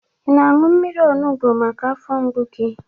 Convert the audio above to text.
Ị na-aṅụ mmiri onubo maka afọ mgbu gị?